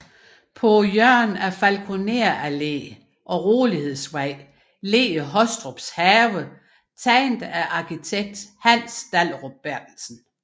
På hjørnet af Falkoner Allé og Rolighedsvej ligger Hostrups Have tegnet af arkitekt Hans Dahlerup Berthelsen